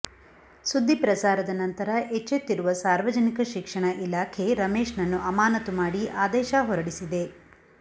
ಸುದ್ದಿ ಪ್ರಸಾರದ ನಂತರ ಎಚ್ಚೆತ್ತಿರುವ ಸಾರ್ವಜನಿಕ ಶಿಕ್ಷಣ ಇಲಾಖೆ ರಮೇಶ್ನನ್ನು ಅಮಾನತು ಮಾಡಿ ಆದೇಶ ಹೊರಡಿಸಿದೆ